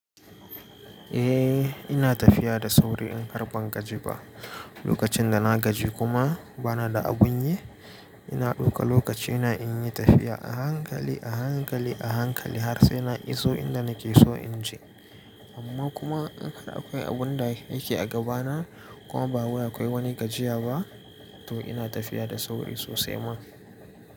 Eh ina tafiya da sauri in kar ban gaji ba, lokacin da na gaji kuma bana da abun yi, ina ɗauka lokacina in yi tafiya a hankali, a hankali, a hankali har sai na iso inda nake so in je. Amma kuma in har akwai abun da yake a gabana kuma ba wai wani gajiya ba, to ina tafiya da sauri sosai ma.